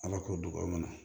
Ala k'o duba a kɔnɔ